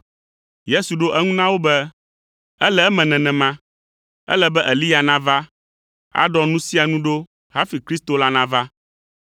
Yesu ɖo eŋu na wo be, “Ele eme nenema. Ele be Eliya nava, aɖɔ nu sia nu ɖo hafi Kristo la nava.